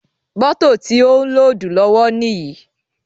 Mótò ti ó ń lódùù lọ́wọ́ níyì.